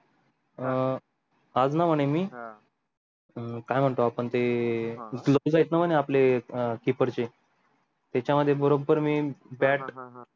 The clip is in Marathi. अं आज ना म्हणे मी हां हम काय म्हणतो आपण ते हां तीकडचे तेच मध्ये बरोबर मी bat